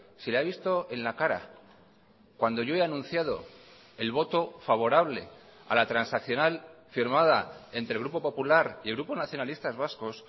se le ha visto en la cara cuando yo he anunciado el voto favorable a la transaccional firmada entre el grupo popular y el grupo nacionalistas vascos